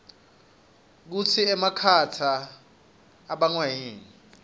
kutsi emakhata ibangwayini